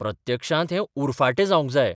प्रत्यक्षांत हें उरफाटें जावंक जाय.